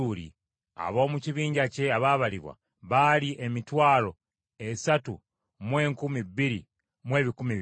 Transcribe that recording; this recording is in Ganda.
Ab’omu kibinja kye abaabalibwa baali emitwalo esatu mu enkumi bbiri mu ebikumi bibiri (32,200).